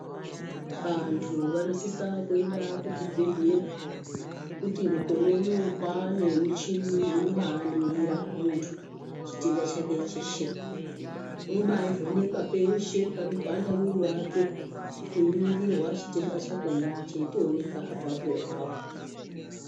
Vantu vanosise kuenda kuzvibhedhlera ngekuti mukore unou kwaane nemichini inobaningira muntu chitenda chake cheshe unobaivhenekwa peahe panopanda mwiri wake einingirwa chitenda chakona cheitooneka apapo-apapo.